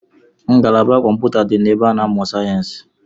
Ngalaba kọmpụta di na ebe a na-amụ sayensi